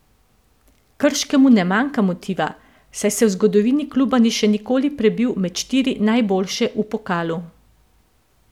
Krškemu ne manjka motiva, saj se v zgodovini kluba ni še nikoli prebil med štiri najboljše v pokalu.